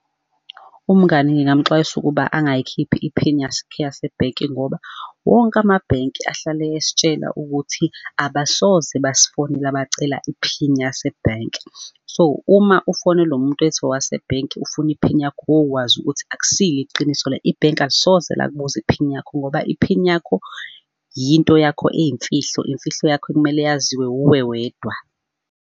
Umngani ngingamxwayisa ukuba angayikhiphi iphini yakhe yasebhenki, ngoba wonke amabhenki ahlale esitshela ukuthi abasoze basifonela bacela iphini yasebhenki. So, uma ufonelwa umuntu ethi owase bhenki ufuna iphini yakho wokwazi ukuthi akusiyo iqiniso le ibhenki alisoze lakubuza iphini yakho ngoba iphini yakho yinto yakho eyimfihlo, imfihlo yakho ekumele yaziwe wuwe wedwa.